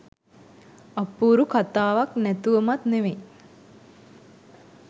අපුරු කතාවක් නැතුවමත් නෙවෙයි.